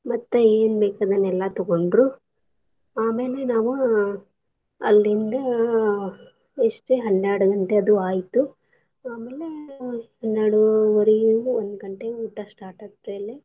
ಮತ್ತ್ ಎನ್ ಬೇಕ್ ಅದನ್ನೆಲ್ಲಾ ತಗೊಂಡ್ರು ಆಮೇಲೆ ನಾವ್ ಅಲ್ಲಿಂದ ಎಷ್ಟ್ ಹನ್ಯಾಡ್ ಗಂಟೆ ಅದು ಆಯ್ತು ಆಮೇಲೆ ಹನ್ಯಾಡು ವರೀಯಂಗ್ ಒಂದ್ ಗಂಟೆಗ್ ಊಟ start ಆರ್ತಿ ಅಲ್ಲೆ.